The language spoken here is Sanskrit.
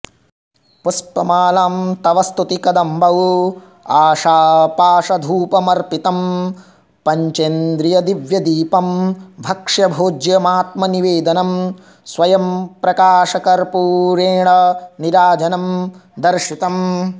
पुष्पमालां तव स्तुतिकदम्बौ आशापाशधूपमर्पितं पञ्चेन्द्रियदिव्यदीपं भक्ष्यभोज्यमात्मनिवेदनं स्वयम्प्रकाशकर्पूरेण नीराजनं दर्शितम्